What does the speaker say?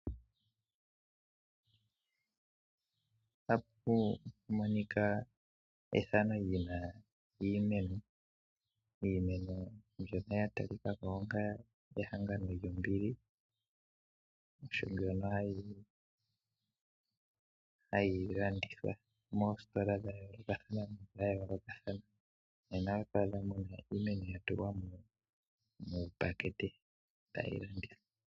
Ota pu monika iimeno mbyono ya talika ko onga ehangano lyombili. Iimeno mbyono hayi landithwa moositola dha yoolokathana, oto adha mo iimeno ya tulwa muupakete tayi landithwa.